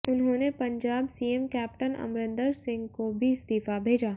उन्होंने Punjab CM captain Amarinder Singh को भी इस्तीफा भेजा